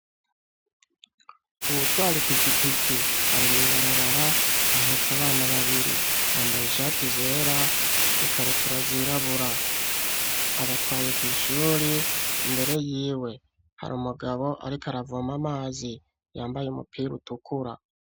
Uwutwar'ipikipiki ari mw'ibarabara ahetse abana babiri ,bambaye ishati zera ikabutura zirabura, abatwaye kw' ishuri imbere y'iwe har' umugabo arik' aravoma amazi yambaye umupir' utukura.